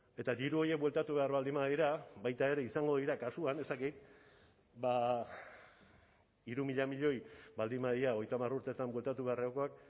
eta diru horiek bueltatu behar baldin badira baita ere izango dira kasuan ez dakit ba hiru mila milioi baldin badira hogeita hamar urteetan bueltatu beharrekoak